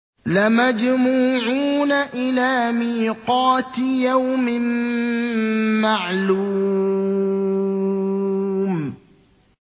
لَمَجْمُوعُونَ إِلَىٰ مِيقَاتِ يَوْمٍ مَّعْلُومٍ